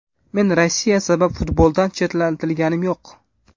Men Rossiya sabab futboldan chetlatilganim yo‘q.